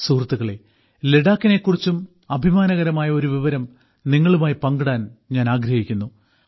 സുഹൃത്തുക്കളെ ലഡാക്കിനെക്കുറിച്ചും അഭിമാനകരമായ ഒരു വിവരം നിങ്ങളുമായി പങ്കിടാൻ ഞാൻ ആഗ്രഹിക്കുന്നു